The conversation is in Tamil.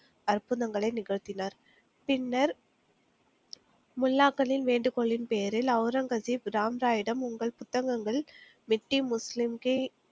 அற்புதங்களை நிகழ்த்தினார் பின்னர் முல்லாக்களின் வேண்டுகோளின் பேரில் ஒளரங்கசீப் ராம்ராயிடம் உங்கள் புத்தகங்கள்